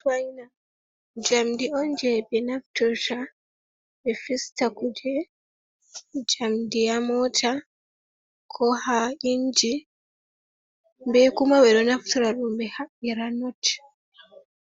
Spaina jamdi on je ɓe naftirta ɓe fista kuje jamdi ha mota, ko ha inji, be kuma ɓe ɗo naftira ɗum ɓe haɓɓira not,